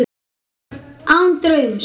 Án draums.